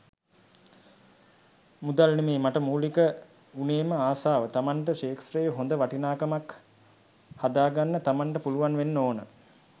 මුදල් නෙමේ මට මූලික වුණේම ආසාව තමන්ට ක්ෂේත්‍රයේ හොඳ වටිනාකමක් හදාගන්න තමන්ට පුළුවන් වෙන්න ඕන.